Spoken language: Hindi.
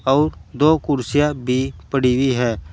अउर दो कुर्सियां भी पड़ी हुई है।